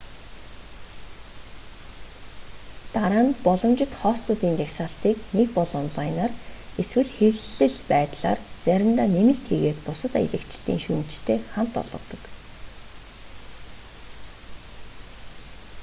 дараа нь боломжит хостуудын жагсаалтыг нэг бол онлайнаар эсвэл хэвлэл байдлаар заримдаа нэмэлт хийгээд бусад аялагчдын шүүмжтэй хамт олгодог